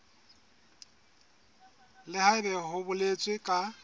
le haebe ho boletswe ka